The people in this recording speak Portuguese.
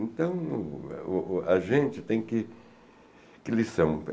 Então, o o a gente tem que... Que lição?